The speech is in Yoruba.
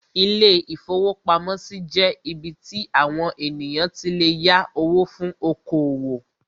Ilé-ìfowópamọ́sí jẹ́ ibí tí àwon ènìyàn tí lè yá owó fún oko-òwò